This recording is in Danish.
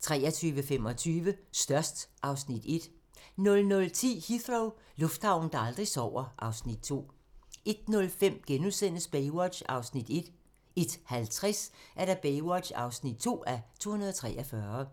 23:25: Størst (Afs. 1) 00:10: Heathrow - lufthavnen, der aldrig sover (Afs. 2) 01:05: Baywatch (1:243)* 01:50: Baywatch (2:243)